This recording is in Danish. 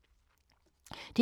DR P2